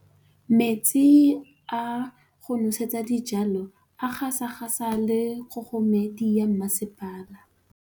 Metsi a go nosetsa dijalo a gasa gasa ke kgogomedi ya masepala.